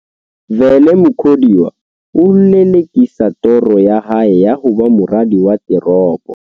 Vele Mukhodiwa ho lele-kisa toro ya hae ya ho ba moradi wa teropo.